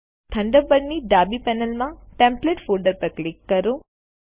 થન્ડરબર્ડની ડાબી પેનલમાંટેમ્પ્લેટ ફોલ્ડર પર ક્લિક કરો